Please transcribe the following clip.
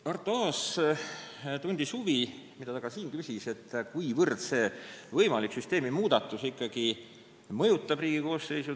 Arto Aas tundis huvi ja küsis ka siin, mil määral see võimalik süsteemi muudatus mõjutaks Riigikogu koosseisu.